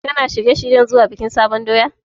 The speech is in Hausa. Kana shirye-shiryen zuwa wajen bikin sabon doya?